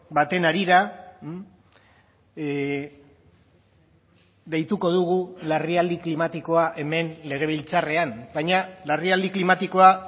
baten harira deituko dugu larrialdi klimatikoa hemen legebiltzarrean baina larrialdi klimatikoa